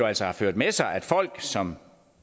altså har ført med sig at folk som